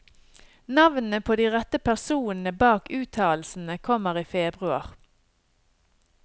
Navnene på de rette personene bak uttalelsene kommer i februar.